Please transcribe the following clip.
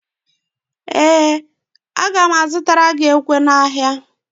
Ee, aga m azụtara gị ekwe n'ahịa